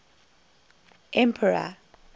emperor